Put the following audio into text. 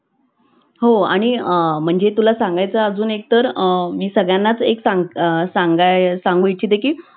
Chat GPT ही आज internet वर किंवा अं बाहेर क्षेत्रात खूप मोठ्या प्रमाणावर वापरली जाणारी एक अशी